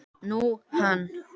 Nú, hann.